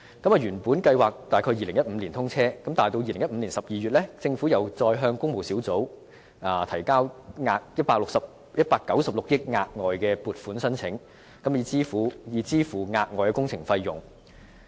原本計劃在2015年通車，但到了2015年12月，政府再向工務小組委員會提交196億元的額外撥款申請，以支付額外工程費用。